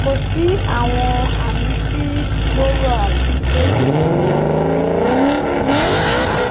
ko si awọn ami ti gbooro ati pe ko si mi kekere